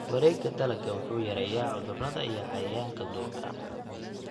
Wareegga dalagga wuxuu yareeyaa cudurrada iyo cayayaanka duurka.